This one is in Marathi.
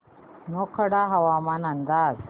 मोखाडा हवामान अंदाज